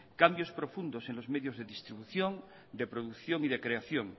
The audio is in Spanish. cambios profundos en los medios de distribución de producción y de creación